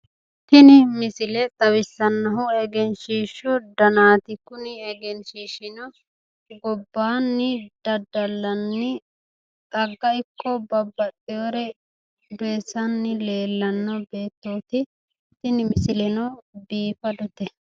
Tini misile xawissannohu egenshiishshu danaati. Kuni egenshiishshino gobbaanni daddallanni xagga ikko babbaxxiwore doyissanni leellanno beettooti. Tini misileno biifadote.